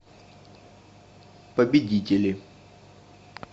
победители